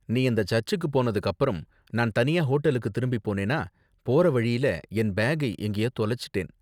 நீ அந்த சர்ச்சுக்கு போனதுக்கு அப்பறம், நான் தனியா ஹோட்டலுக்கு திரும்பி போனேனா, போற வழியில என் பேக்கை எங்கேயோ தொலைச்சுட்டேன்.